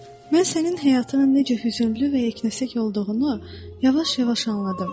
mən sənin həyatının necə hüzünlü və yeknəsək olduğunu yavaş-yavaş anladım.